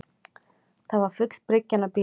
Það var full bryggjan af bílum